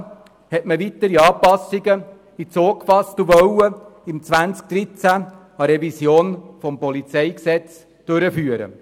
Daraufhin hat man weitere Anpassungen ins Auge gefasst und wollte 2013 eine Revision des PolG durchführen.